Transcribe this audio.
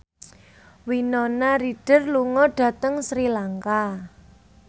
Winona Ryder lunga dhateng Sri Lanka